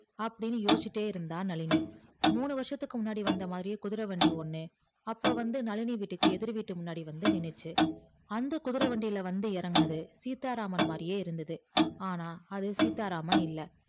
அப்டின்னு யோசிச்சிட்டு இருந்தா நளினி முன்னு வருசத்துக்கு முன்னாடி வந்த மாதிரி குதிரை வண்டி ஒன்னு அப்போ வந்த நழினி வீட்டுக்கு எதிர் வீட்டு முன்னாடி வந்துச்சி அந்த குதிரை வண்டில வந்து எறங்குனது சீத்தாராமன் மாதிரி இருந்தது ஆனா அது சீத்தாராமன் இல்ல